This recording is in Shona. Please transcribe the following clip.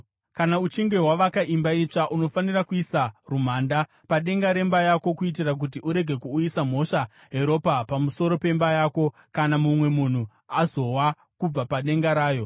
Kana uchinge wavaka imba itsva, unofanira kuisa rumhanda padenga remba yako kuitira kuti urege kuuyisa mhosva yeropa pamusoro pemba yako kana mumwe munhu azowa kubva padenga rayo.